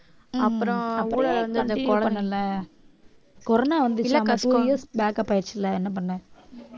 அப்புறம் கொரோனா வந்துச்சு இல்லை இல்லைப்பா two years backup ஆயிடுச்சு இல்லை என்ன பண்ண